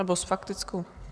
Nebo s faktickou?